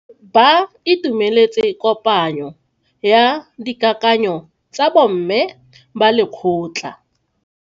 Ba itumeletse kopanyo ya dikakanyo tsa bo mme ba lekgotla.